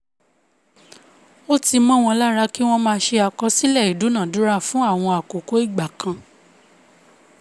ó ti mó won lára ki wọ́n máa ṣe àkọsílẹ̀ ìdúnadúrà fún àwọn àkókò ìgbà kan